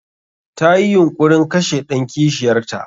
Tayi yunƙurin kashe ɗan kishiyar ta.